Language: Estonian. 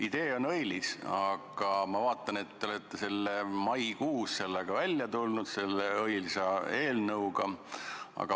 Idee on õilis, aga ma vaatan, et te olete selle õilsa eelnõuga välja tulnud juba maikuus.